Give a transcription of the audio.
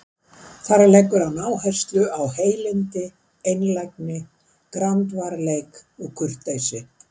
Þar leggur hann áherslu á heilindi, einlægni, grandvarleik og kurteisi.